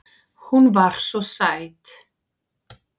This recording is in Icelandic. Hún var svo sæt.